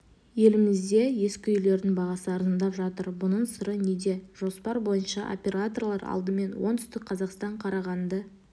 елімізде ескі үйлердің бағасы арзандап жатыр бұның сыры неде жоспар бойынша операторлар алдымен оңтүстік қазақстан қарағанды